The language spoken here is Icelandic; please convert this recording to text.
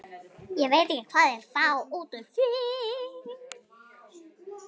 Ég veit ekki hvað þeir fá út úr því.